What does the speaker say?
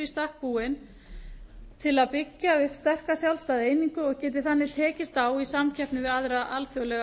í stakk búinn til að byggja upp sterka sjálfstæða einingu og geti þannig tekist á í samkeppni við aðra alþjóðlega